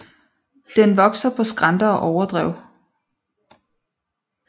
Den vokser på skrænter og på overdrev